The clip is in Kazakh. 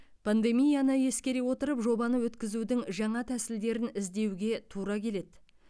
пандемияны ескере отырып жобаны өткізудің жаңа тәсілдерін іздеуге тура келеді